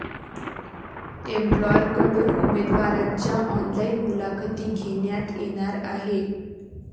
एम्प्लॉयरकडून उमेदवारांच्या ऑनलाईन मुलाखती घेण्यात येणार आहे.